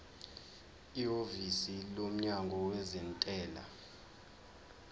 ihhovisi lomnyango wezentela